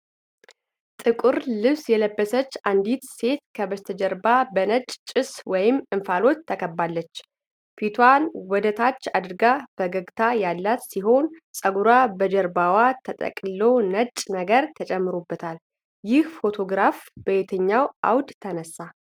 ጥቁር ልብስ የለበሰች አንዲት ሴት ከበስተጀርባ በነጭ ጭስ ወይም እንፋሎት ተከባለች። ፊቷን ወደታች አድርጋ ፈገግታ ያላት ሲሆን፣ ፀጉሯ በጀርባዋ ተጠቅልሎ ነጭ ነገር ተጨምሮበታል። ይህ ፎቶግራፍ በየትኛው አውድ ተነሳ?